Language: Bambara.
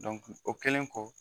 o kɛlen kɔ